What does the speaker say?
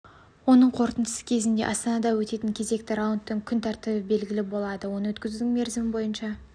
оның қорытындысы кезінде астанада өтетін кезекті раундтың күн тәртібі белгілі болады оны өткізудің мерзімі бойынша